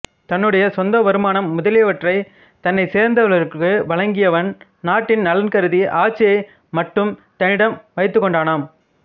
தன்னுடைய சொத்து வருமானம் முதலியவற்றைத் தன்னைச் சேர்ந்தவர்களுக்கு வழங்கியவன் நாட்டின் நலன்கருதி ஆட்சியை மட்டும் தன்னிடம் வைத்துக்கொண்டானாம்